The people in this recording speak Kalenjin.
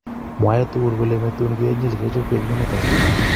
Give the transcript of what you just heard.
mwoe tugul kole metun kenyil kechobei eng emet age